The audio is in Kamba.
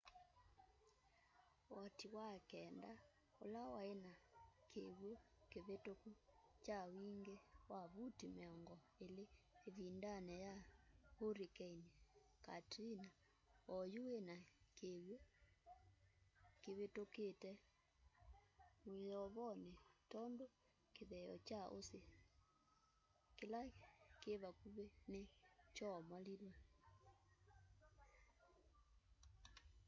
woti wa kenda ũla waĩ na kĩw'ũ kĩvĩtũku kya wingĩ wa vuti mĩongo ĩlĩ ĩvindanĩ ya hurricane katrina o yu wĩna kĩw'ũ kĩvĩtũkũte mwĩyovonĩ tondũ kĩtheeo kya ũsĩ kĩla kĩ vakuvĩ nĩ kyoomoliwe